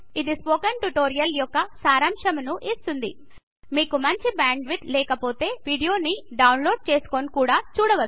ఇది spoken tutorial యొక్క సరంశంను ఇస్తుంది మీకు మంచి బ్యాండ్ విడ్త్ లేక పొతే వీడియో ని డౌన్లోడ్ చేసి కూడా చూడవచ్చు